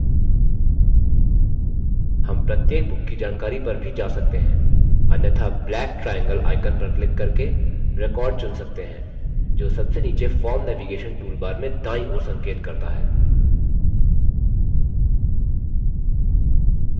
हम प्रत्येक book की जानकारी पर भी जा सकते हैं अन्यथा black triangle icon पर क्लिक करके record चुन सकते है जो सबसे नीचे forms navigation toolbar में दांयी ओर संकेत करता है